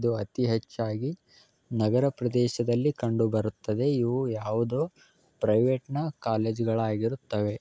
ಇದು ಅತಿ ಹೆಚ್ಚಾಗಿ ನಗರ ಪ್ರದೇಶದಲ್ಲಿ ಕಂಡು ಬರುತ್ತದೆ ಇದು ಯಾವುದೋ ಪ್ರೈವೇಟನ ಕಾಲೇಜಗಳ ಆಗಿರುತ್ತವೆ.